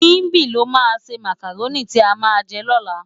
Simbi ló má sé mákáróni ti á má jè lòlá